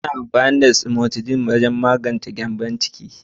Ana amfani da cimetidine wajen magance gyambon ciki.